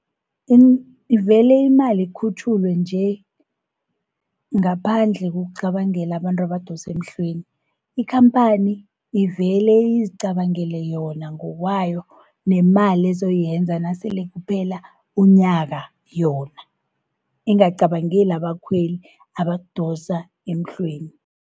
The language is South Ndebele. Iveli imali ukhutjhulwe nje, ngaphandle kokucabangela abantu abadose emhlweni. Ikhamphani ivele izicabangele yona ngokwawo, nemali ezo yenza nasele kuphela unyaka yona. Ingacabangeli abakhweli abadosa emhlweni.